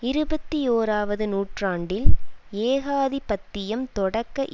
இருபத்தியோராவது நூற்றாண்டில் ஏகாதிபத்தியம் தொடக்க